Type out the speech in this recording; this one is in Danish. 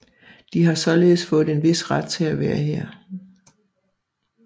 De har således fået en vis ret til at være her